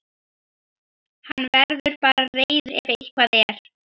Til þess hefurðu verið mér of góð.